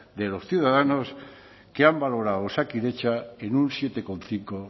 de los ciudadanos que han valorado a osakidetza en un siete coma cinco